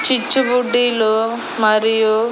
చిచ్చుబుడ్డీలు మరియు--